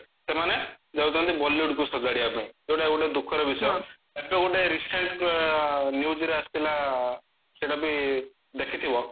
ସେମାନେ ଯାଉଚନ୍ତି bollywood କୁ ସଜାଡିବା ପାଇଁ ଯୋଉଟା କି ଗୋଟେ ଦୁଖର ବିଷୟ ଏବେ ଗୋଟେ recent newsରେ ଆସିଥିଲା ସେଟା ବି ଦେଖିଥିବ